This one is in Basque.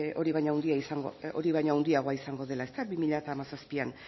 hori baino handiagoa izango dela bi mila hamazazpian